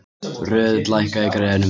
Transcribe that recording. Röðull, lækkaðu í græjunum.